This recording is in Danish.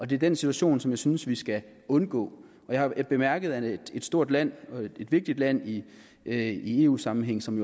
det er den situation som jeg synes vi skal undgå jeg har bemærket at et stort land et vigtigt land i eu sammenhæng som